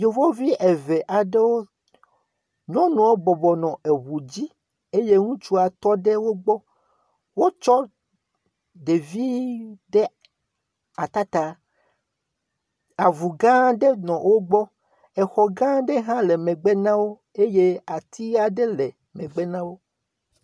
Yevuvi eve aɖewo, nyɔnua bɔbɔnɔ eŋu dzi eye ŋutsu tɔ ɖe wo gbɔ eye wotsɔ ɖevi aɖe ɖe ata ta. Avu gã aɖe nɔ wo gbɔ, xɔ gã aɖe hã le megbe na wo eye ati aɖe le megbe na wo.